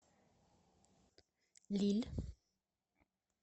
лилль